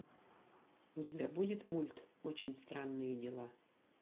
у тебя будет мульт очень странные дела